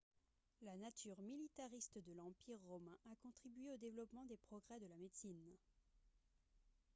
la nature militariste de l'empire romain a contribué au développement des progrès de la médecine